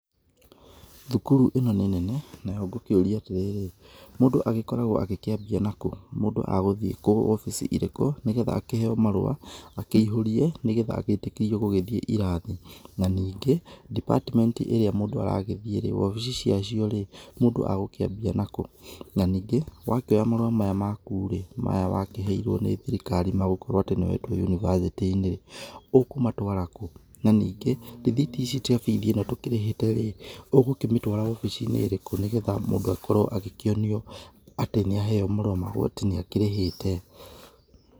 Cukuru ĩno nĩ nene nayo gũkĩũria atĩrĩ, mũndũ akoragwo akĩambia nakũ? Mũndũ agũthie kũu obici irĩkũ nĩgetha akihe marũa akĩihũrie nĩgetha agĩtĩkĩrio gũgĩthiĩ kĩrathi na nĩgĩ Department ĩria mũndũ aragĩthiĩ wabici ciacio rĩ mũndũ agũkĩambia nakũ? Na ningĩ wakĩoya marũa maya makurĩ maya wakĩheirwo nĩ thirikari magũkorwo nĩ wetwo yunibacĩtĩ-inĩ ũkũmatwaara kũ? na ningĩ rĩthiti ici cia bithi ĩno tũkĩrĩhĩte rĩ ũgũkĩmĩtwara obicini-inĩ ĩrĩkũ nĩgetha mũndũ akorwo agĩkĩonio atĩ nĩ aheo marũa na nĩ akĩrĩhĩte?